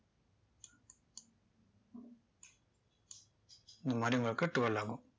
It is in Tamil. இந்த மாதிரி உங்களுக்கு twirl ஆகும்